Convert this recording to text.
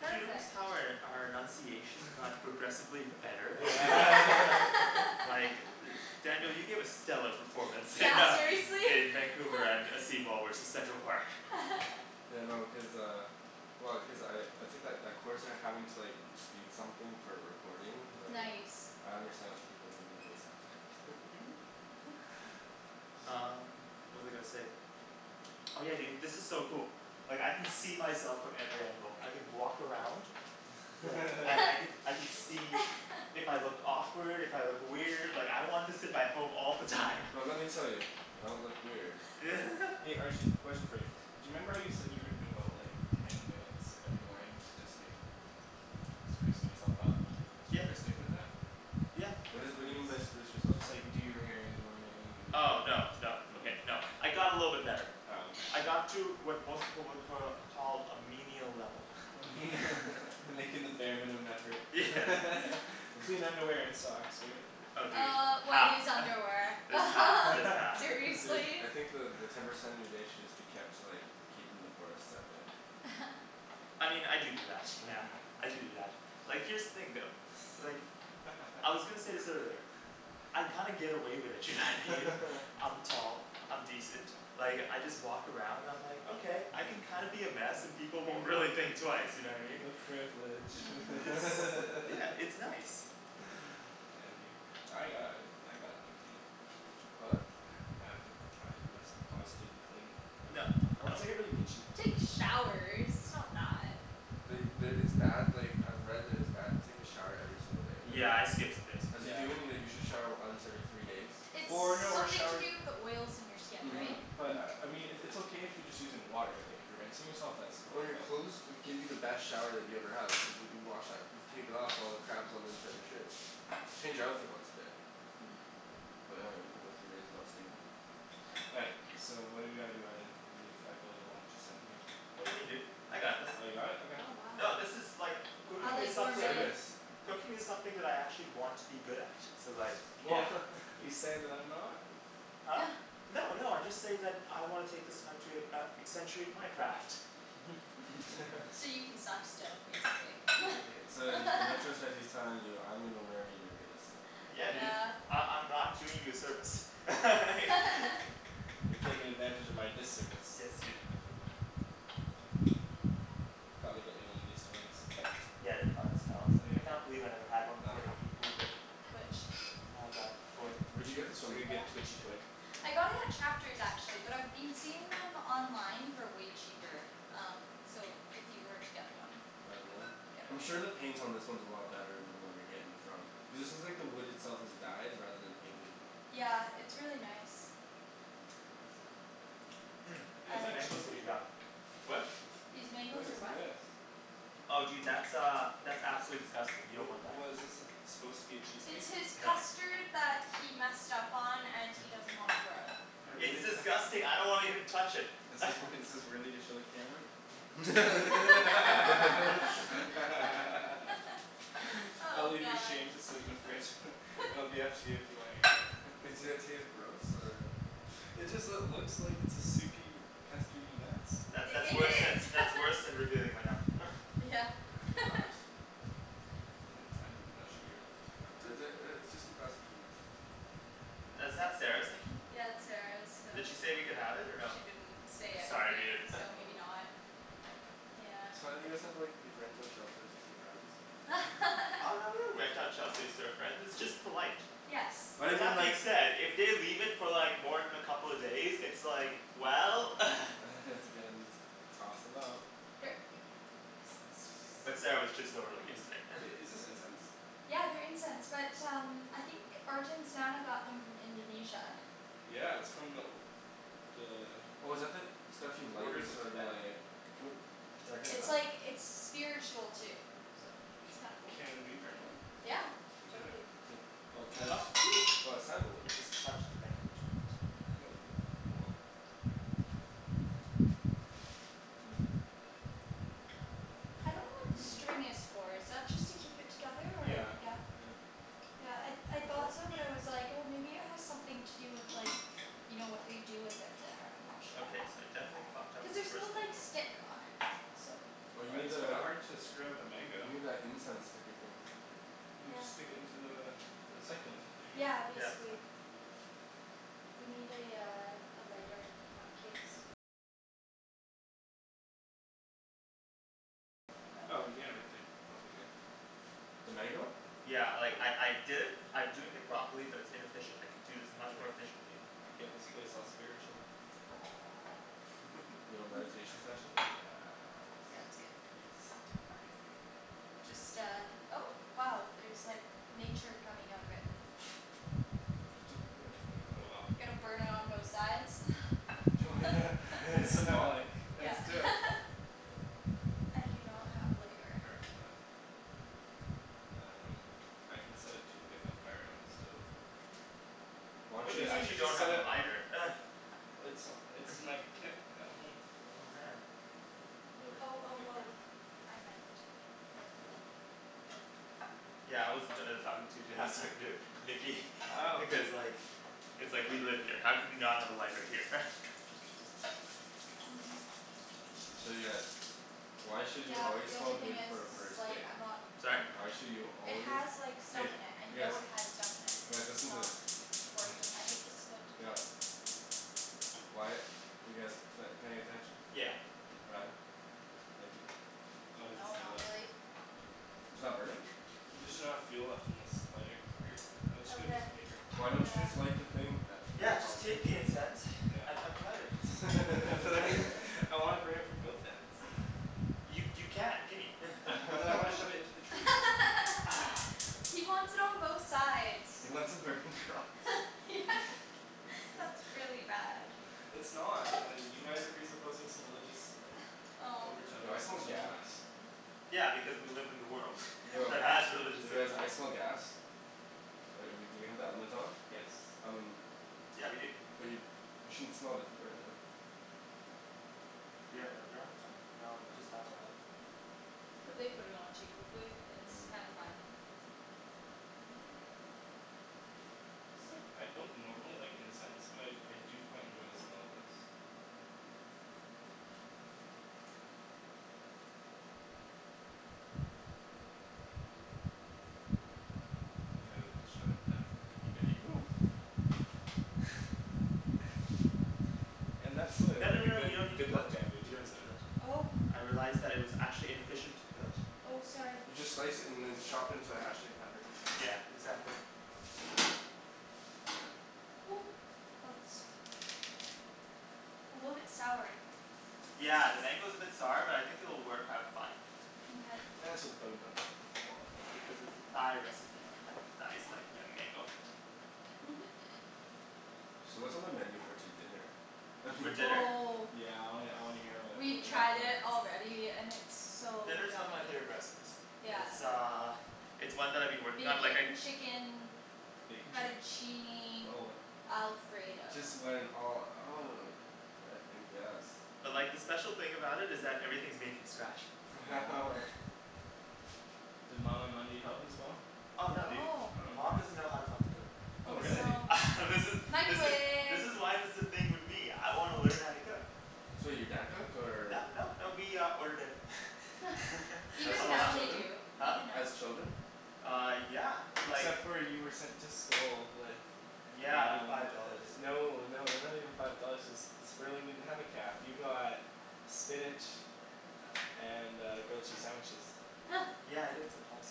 Did you notice Perfect. how our our enunciation got progressively better? Like, Daniel, you gave a stellar performance in Yeah, uh seriously. in Vancouver and uh seawall versus Central Park. Yeah, no cuz uh, well cuz I I took that that course and having to like speak something for a recording like Nice I understand what the people who are doing this have to go through Um, what was I gonna say? Oh yeah, dude, this is so cool. Like I can see myself from every angle, I can walk around. And, I can I can see if I look awkward, if I look weird, like I want this in my home all the time. Well let me tell you, you don't look weird. Arjan, question for you. Do you remember how you said you were gonna devote like ten minutes every morning to just like sprucing yourself up? Did you Yeah ever stick with that? Yeah What is it what do you mean by spruce yourself Just up? like do your hair in the morning and Oh no no okay no I got a little bit better Oh okay I got to what most people would cur call a menial level. Making the bare minimum effort clean underwear and socks, right? Oh dude, Uh what half is underwear just half just half Dude, seriously? I think the the ten percent of your day should just be kept to like keeping the forest out there. I mean, I do do that yeah, I do do that, like here's the thing though. Like, I was gonna say this earlier. I kinda get away with it, you know what I mean? I'm tall, I'm decent, like I just walk around and I'm like, okay I can kinda be a mess and people won't really think twice, you know what I mean? The privilege Yeah, it's nice I envy you I got- I gotta be clean. What? I have to I must constantly be clean No, or else no. I get really itchy for some Take reason. showers, it's not that. The the, it's bad like I've read that it's bad to take a shower every single day. Yeah, I skip some days. As a human you like you should shower once every three days. Or no, or Something to shower do with the oils in your skin, Mhm right? But, I I mean it it's okay if you're just using water like if you're rinsing yourself that's cool Well your but clothes will give you the best shower that you ever had which is what you wash out you take it off all the crap that's on the inside of your shirt. Change your outfit once a day. But I dunno you can go three days without stinkin'. All right, so what do we gotta do, Arjan? I feel like a lump just sittin' here. What do you mean dude, I got this. You got it? Okay. Oh wow No this is like, cooking is something, cooking is something that I actually want to be good at so like, yeah You saying that I'm not? No no I just say that I wanna take this time to uh accentuate my craft. So you can suck still, basically. So then, and I trust that he's telling you I'm gonna learn and you're gonna sit. Yeah dude, I- I'm not doing you a service You're taking advantage of my disservice. Yes, dude. Gotta get me one of these toys. Yeah, they're fine as hell, I It's can't believe I never had one like before Nikki moved in. Which? Uh, that toy. Where'd you get this from? I got it at Chapters actually, but I've been seeing them online for way cheaper, um so if you were to get one I'm sure the paint on this one is a lot better than the one you're getting from, cuz this is like the wood itself is dyed rather than painted. Yeah, it's really nice. Mm, Yo, these is that mangoes are cheesecake? yum. What? These What mangoes is are what? this? Oh dude that's uh, that's absolutely disgusting, you Wha- don't want that. What is this it's supposed to be a It's cheesecake? his custard that he messed up on and he doesn't wanna throw out. It's disgusting, I don't wanna even touch it Is this wor- is this worthy to show the camera? I'll Oh, leave your god shame to sit in the fridge it'll be up to you if you wanna air it. Does it taste gross or It just lo- looks like a soupy, custardy mess. That's that's I- it worse than is that's worse than revealing my num- Yeah, Can I have your glass? I'm not sure here, what? Is it uh it's just a glass of juice. Is that Sarah's, Nikki? Yeah that's Sarah's, so Did she say we could have it or no? She didn't say Sorry anything, dude so maybe not, yeah So why don't you guys have like, you rent out shelf space to your friends? Oh no we don't rent out shelf space to our friends, it's just polite. Yes. Why But didn't you that being like- said, if they leave it for like more than a couple of days it's like, well has to get in this, tossin' out Here. But Sarah was just over like Mm, yesterday i- is this incense? Yeah, they're incense, but um, I think Arjan's nana got them from Indonesia. Yeah, it's from the The Oh is that the, stuff you like orders that's of sort of Tibet like, It's like it's spiritual too, so it's kinda cool. Can we burn one? Yeah, For dinner. totally. Oh Titus, oh it's sandalwood. I just touched the mango jui- Oh, oh well. I don't know what the string is for, is that just to keep it together or? Yeah, Yeah? yeah. Yeah, I I thought so but I was like oh maybe it has something to do with like, you know what they do with it there, I'm not sure. Okay, so I definitely fucked up Cuz this there's first no like mango. stick on it, so Oh you Well need it's kinda the, hard to screw up a mango. you need that incense sticker thing. We just stick into the the succulent thing right? Yeah, Yeah, that's basically. fine. Oh yeah right there, that'll be good. The mango? Yeah, like I I did it I'm doing it properly but it's inefficient, I can do this much Anyway, more efficiently. let me get this place all spiritual. Yo, meditation session, yes. Yeah, that's good. Just uh, oh wow there's like nature coming out of it It doesn't, Go off yeah, Gonna burn it on both sides Yeah That's it I do not have a lighter. Um, I can set a toothpick on fire on the stove. Why What don't do you Wait, you I mean just you should just don't set have a it on lighter? It's it's in my kit at home. Oh man. Or, I Oh don't oh really care oh, I might. Yeah I wasn't talking to you dude I was talking to Nikki because like It's like we live here, how can we not have a lighter here? Um I'm not sure. So yeah, why should you Yeah but always the smell only thing good is for a first it's like date? I'm not Sorry? Why should you It always, has like stuff hey in it, I you guys, know it has stuff in it. It's guys just listen to this not working. I think this one too is out. Why- you guys p- paying attention? Yeah. Ryan? Thank you. No it doesn't No, stay not lit. really It's not burning? There's just not enough fuel left in this lighter. Here, I'll just get a Okay, piece of paper. Why don't you uh just light the thing? Yeah, just take the incense and fucking light it. I wanna burn it from both ends. You you can, gimme But then I wanna shove it into the tree He wants it on both sides. He wants a burning cross. That's really bad. It's not, uh you guys are presupposing some religious overtone Yo I smell gas. Yeah because we live in the world that has religious You guys, rituals. I smell gas. Uh we do we have the element on? I mean - but you you shouldn't smell if you're burning it. Do we have another element on? No, No, just it's that one. not on. Cuz they put it on too quickly, it's kinda fine. It's like I don't normally like incense but I I do quite enjoy the smell of this. Yeah, shove it down No no no no we don't need to peel that, we don't need to peel that. Oh I realized that it was actually inefficient to peel it. Oh, sorry. You just slice it and then chop it into a hashtag pattern. Yeah, exactly. Ooh, that's A little bit sour. Yeah, the mango's a bit sour but I think it'll work out fine. Mkay Yeah, it's for the bug in my butt, my wallet Because it's a Thai recipe and Thais like young mango. Mhm So what's on the menu for to- dinner? For dinner? Oh Yeah I wanna I wanna hear wha- what We've we got tried it planned. already and it's so Dinner's one yummy. of my favorite recipes. Yeah It's uh it's one that I've been working on like I Bacon chicken Bacon chicken? fettuccine alfredo Just went all out. I think yes. But like the special thing about it is that everything's made from scratch. Does mama help as well? Oh no dude, No. Oh man. mom doesn't know how to fucking cook. Oh Oh This really? no. This is this is this Microwave is why there's this thing with me. I wanna learn how to cook. So your dad cooked or No, no, no, we uh ordered in As a Even as now lot they children? do, Huh? even now. As children? Uh, yeah, like Except for you were sent to school with Yeah, but Um, five dollars, it's like no no they're not even five dollars cuz Sperling didn't have a caf, you got spinach and uh grilled cheese sandwiches. Yeah, I did sometimes.